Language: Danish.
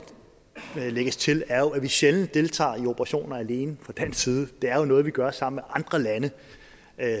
lægges til er jo at vi sjældent deltager i operationer alene fra dansk side det er jo noget vi gør sammen med andre lande